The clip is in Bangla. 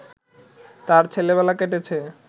তাঁর ছেলেবেলা কেটেছে